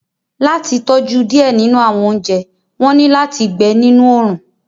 Lati tọju diẹ ninu awọn ounjẹ, wọn ni lati gbẹ ninu oorun